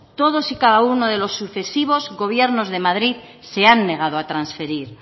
todos y cada uno de los sucesivos gobiernos de madrid se han negado a transferir